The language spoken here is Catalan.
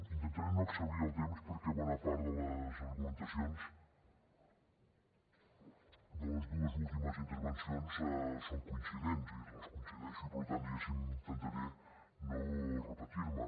intentaré no exhaurir el temps perquè bona part de les argumentacions de les dues últimes intervencions són coincidents vull dir hi coincideixo i per tant diguéssim intentaré no repetir me